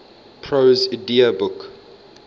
prose edda book